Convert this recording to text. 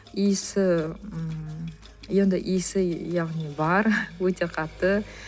иісі ммм енді иісі яғни бар өте қатты